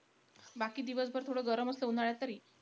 बाकी दिवसभर थोडं गरम असतं, उन्हाळ्यात तरी.